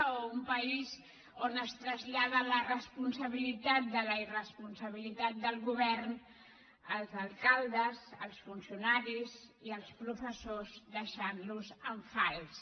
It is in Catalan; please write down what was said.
o un país on es trasllada la responsabilitat de la irresponsabilitat del govern als alcaldes als funcionaris i als professors i se’ls deixa en fals